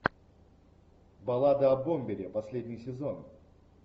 баллада о бомбере последний сезон